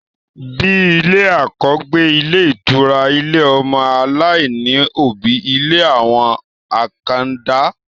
Bíi ilé àkọ́gbé, ilé ìtura, ilé ọmọ aláìní òbí, ilé àwọn àkàndá